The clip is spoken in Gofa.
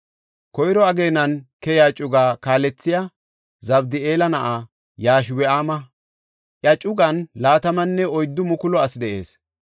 Koyro ageenan keya cugaa kaalethey Zabdi7eela na7aa Yashobi7aama; iya cugan 24,000 asi de7ees.